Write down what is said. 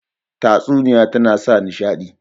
Tatsuniya tana sa nishaɗi